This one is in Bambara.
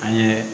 An ye